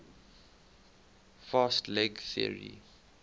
fast leg theory